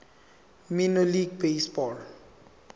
minor league baseball